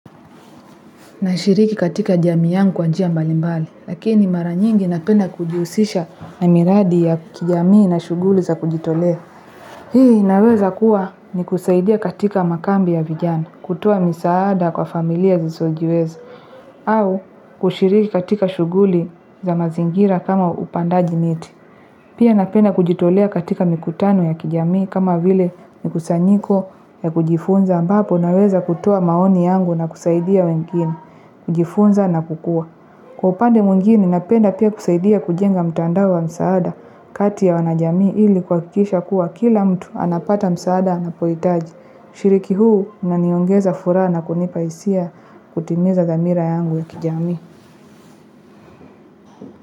Na shiriki katika jamii yangu kwa njia mbali mbali, lakini mara nyingi napenda kujiusisha na miradi ya kijamii na shuguli za kujitolea. Hii inaweza kuwa ni kusaidia katika makambi ya vijana, kutoa misaada kwa familia zisizojiweza, au kushiriki katika shuguli za mazingira kama upandaji miti. Pia napenda kujitolea katika mikutano ya kijamii kama vile mikusanyiko ya kujifunza ambapo naweza kutoa maoni yangu na kusaidia wengine. Kujifunza na kukua. Kwa upande mwingine napenda pia kusaidia kujenga mtandao wa msaada. Kati ya wanajamii ili kuakikisha kuwa kila mtu anapata msaada ana poitaji. Ushiriki huu unaniongeza furaha na kunipaisia kutimiza dhamira yangu ya kijamii.